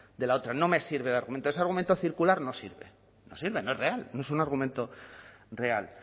de la otra no me sirve de argumento ese argumento circular no sirve no sirve no es real no es un argumento real